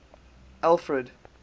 alfred